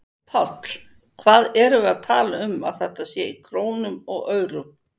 Páll: Hvað erum við að tala um þetta sé í krónum og aurum?